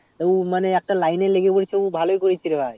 তো ও একটা line এ লেগে গেছে তো ও ভালোই করেছে রে ভাই